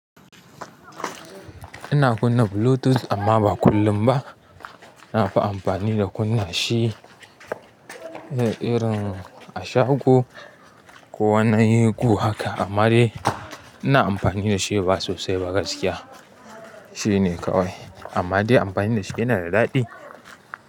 Ina kunna Bluetooth amma ba kullum ba. Nafi amfani da kunna shi, irin a shago ko wani gu haka. Amma dai ina amfani da shi ba sosai ba gaskiya. Shi ne kawai. Amma dai amfani da shi yana da daɗi.